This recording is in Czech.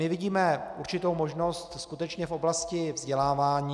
My vidíme určitou možnost skutečně v oblasti vzdělávání.